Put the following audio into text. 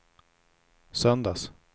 söndags